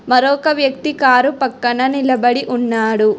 మరొక వ్యక్తి కారు పక్కన నిలబడి ఉన్నాడు.